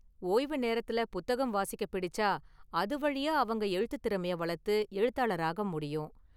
ஓய்வு நேரத்துல புத்தகம் வாசிக்க பிடிச்சா, அது வழியா அவங்க எழுத்துத் திறமைய வளர்த்து எழுத்தாளராக முடியும்.